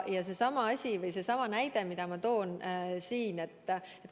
Seesama näide, mille ma juba tõin.